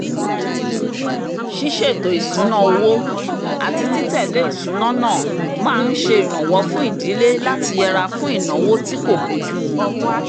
ṣíṣètò ìsúná owó àti títẹ̀lé ìsúná náà máa ǹ ṣe ìrànwọ́ fún ìdílé láti yẹra fún ìnáwó tí kò bójùmu